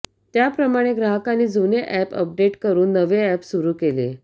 त्याप्रमाणे ग्राहकांनी जुने अॅप अपडेट करुन नवे अॅप सुरु केले